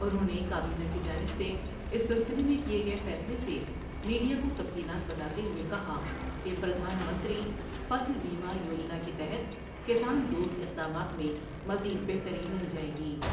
انہوں نے کابینہ کی جانب سے اس سلسلے میں کئے گئے فیصلے سے میڈ یا کو تفصیلات بتاتے ہوۓ کہا کہ پردھان منتری فصل بیمہ یو جنا کے تحت کسان دوست اقدامات میں مزید بہتری لائی جائے گی ۔